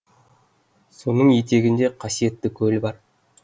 соның етегінде қасиетті көл бар